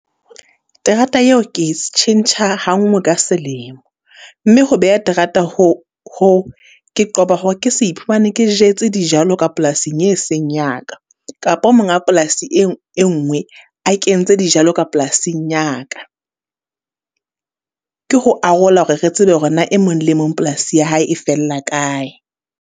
Terata eo ke tjhentjha ha nngwe ka selemo, mme ho beha terata ho ho, ke qoba hore ke se iphumane ke jetse dijalo ka polasing e seng ya ka, kapo monga polasi e e nngwe.l, a kentse dijalo ka polasing ya ka. Ke ho arola hore re tsebe hore na e mong le mong polasi ya hae e fella kae.